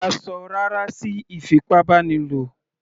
A ṣọ "rárá" sí ìfipábánilò.